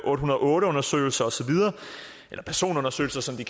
otte hundrede og otte undersøgelser og så videre eller personundersøgelser som de